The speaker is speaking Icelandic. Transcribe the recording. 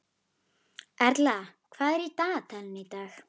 Erla, hvað er í dagatalinu í dag?